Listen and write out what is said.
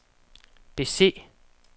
bese